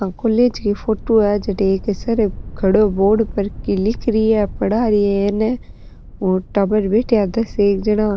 आ कॉलेज का फोटो है जठ एक सर खड़े बोर्ड पर की लिख रही है पढ़ा री है और टाबर बैठा है दस एक जना।